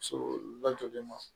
So lajɔlen ma